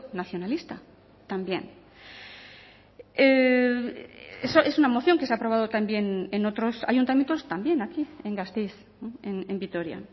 nacionalista también eso es una moción que se ha aprobado también en otros ayuntamientos también aquí en gasteiz en vitoria